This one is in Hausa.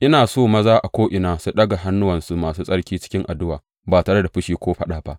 Ina so maza a ko’ina su ɗaga hannuwansu masu tsarki cikin addu’a, ba tare da fushi ko faɗa ba.